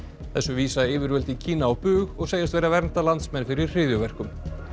þessu vísa yfirvöld í Kína á bug og segjast vera að vernda landsmenn fyrir hryðjuverkum